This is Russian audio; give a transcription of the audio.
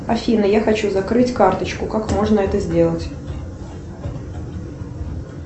афина я хочу закрыть карточку как можно это сделать